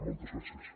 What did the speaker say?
moltes gràcies